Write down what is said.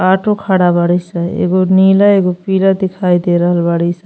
Auto खड़ा बाड़ी स। एगो नीला एगो पीला दिखाई दे रहल बाड़ी स।